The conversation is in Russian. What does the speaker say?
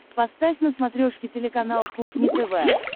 поставь на смотрешке телеканал кухня тв